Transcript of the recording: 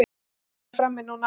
Kexpakkar frammi núna.